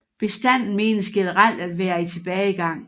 Bestanden menes generelt at være i tilbagegang